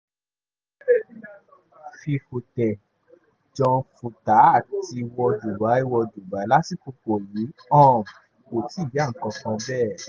kódà um fífòuntẹ̀ jan vútà àti wọ dubai wọ dubai lásìkò yìí um kò tí ì yá kánkán bẹ́ẹ̀